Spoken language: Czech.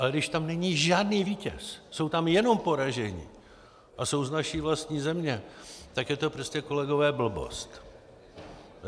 Ale když tam není žádný vítěz, jsou tam jenom poražení a jsou z naší vlastní země, tak je to prostě, kolegové, blbost.